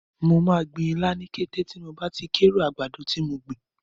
Mo máa gbin ilá ní kété tí mo bá ti kórè àgbàdo tí mo gbìn.